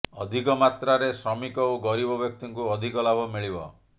ଅଧିକ ମାତ୍ରାରେ ଶ୍ରମିକ ଓ ଗରିବ ବ୍ୟକ୍ତିଙ୍କୁ ଅଧିକ ଲାଭ ମିଳିବ